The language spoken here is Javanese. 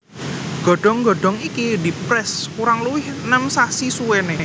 Godhong godhong iki diprès kurang luwih nem sasi suwéné